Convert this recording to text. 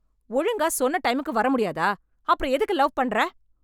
ஒழுங்கா சொன்ன டைமுக்கு வர முடியாதா, அப்புறம் எதுக்கு லவ் பண்ற?